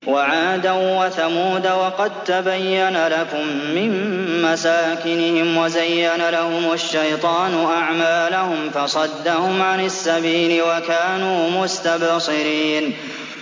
وَعَادًا وَثَمُودَ وَقَد تَّبَيَّنَ لَكُم مِّن مَّسَاكِنِهِمْ ۖ وَزَيَّنَ لَهُمُ الشَّيْطَانُ أَعْمَالَهُمْ فَصَدَّهُمْ عَنِ السَّبِيلِ وَكَانُوا مُسْتَبْصِرِينَ